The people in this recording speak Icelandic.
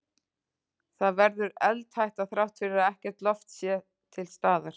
Það verður eldhætta þrátt fyrir að ekkert loft sé til staðar.